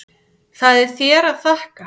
Það er þér að þakka.